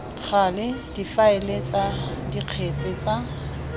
gale difaele tsa dikgetse tsa